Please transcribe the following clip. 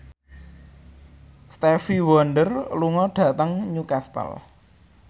Stevie Wonder lunga dhateng Newcastle